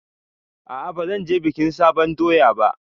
A'a bazan je bikin sabon doya ba